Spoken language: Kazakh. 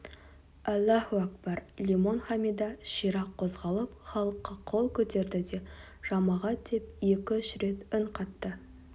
аллаһуәкбар лимон хамидә ширақ қозғалып халыққа қол көтерді де жамағат деп екі-үш рет үн қатты